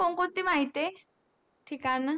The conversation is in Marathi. कोणते माहिती आहे ठिकाण